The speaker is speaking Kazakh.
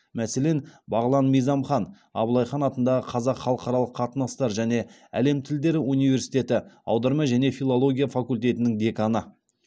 мәселен бағлан мизамхан абылай хан атындағы қазақ халықаралық қатынастар және әлем тілдері университеті аударма және филология факультетінің деканы